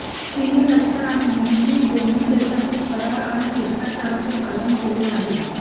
चीनी लष्कराने नेहमीच दोन्ही देशातील करार आणि शिष्टाचाराचे पालन केले आहे